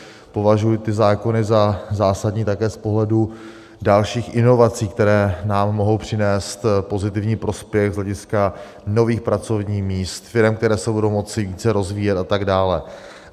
Považuji ty zákony za zásadní také z pohledu dalších inovací, které nám mohou přinést pozitivní prospěch z hlediska nových pracovních míst, firem, které se budou moci více rozvíjet, a tak dále.